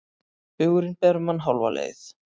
Hugurinn ber mann hálfa leið.